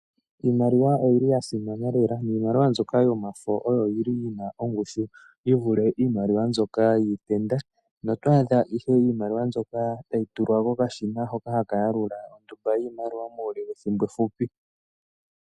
Iimaliwa oyili ya simana lela, niimaliwa mbyoka yomafo oyo yili yina ongushu yi vule iimalwa mbyoka yiitenda, noto adha ihe iimaliwa mbyoka tayi tulwa kokashina hoka haka yalula ondumba yiimaliwa muule wethimbo efupi.